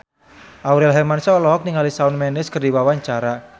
Aurel Hermansyah olohok ningali Shawn Mendes keur diwawancara